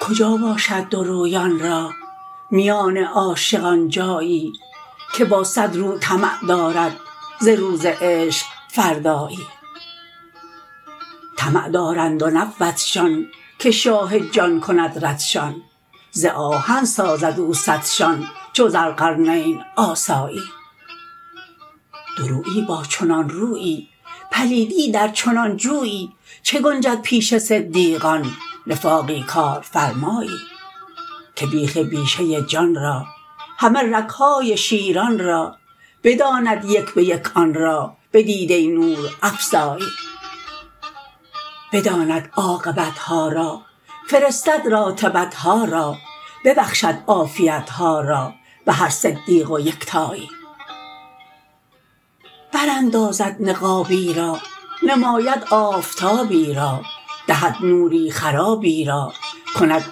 کجا باشد دورویان را میان عاشقان جایی که با صد رو طمع دارد ز روز عشق فردایی طمع دارند و نبودشان که شاه جان کند ردشان ز آهن سازد او سدشان چو ذوالقرنین آسایی دورویی با چنان رویی پلیدی در چنان جویی چه گنجد پیش صدیقان نفاقی کارفرمایی که بیخ بیشه جان را همه رگ های شیران را بداند یک به یک آن را بدیده نورافزایی بداند عاقبت ها را فرستد راتبت ها را ببخشد عافیت ها را به هر صدیق و یکتایی براندازد نقابی را نماید آفتابی را دهد نوری خدایی را کند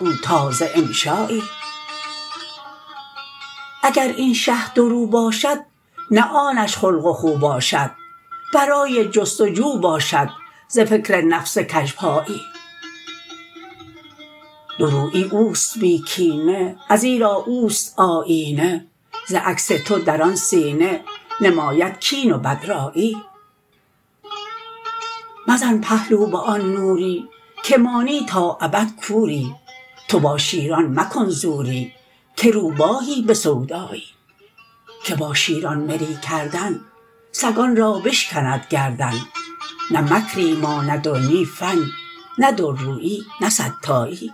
او تازه انشایی اگر این شه دورو باشد نه آنش خلق و خو باشد برای جست و جو باشد ز فکر نفس کژپایی دورویی او است بی کینه ازیرا او است آیینه ز عکس تو در آن سینه نماید کین و بدرایی مزن پهلو به آن نوری که مانی تا ابد کوری تو با شیران مکن زوری که روباهی به سودایی که با شیران مری کردن سگان را بشکند گردن نه مکری ماند و نی فن نه دورویی نه صدتایی